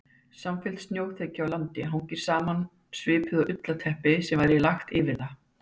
Samfelld snjóþekja á landi hangir saman svipað og ullarteppi sem væri lagt yfir það.